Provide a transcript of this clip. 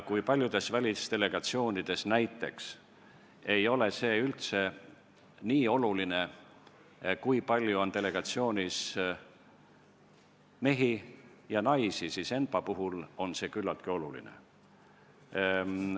Kui paljudes välisdelegatsioonides näiteks ei ole üldse nii oluline see, kui palju on delegatsioonis mehi ja kui palju naisi, siis ENPA-s on see küllaltki oluline.